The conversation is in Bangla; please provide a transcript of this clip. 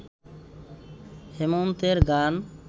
হেমন্তের গান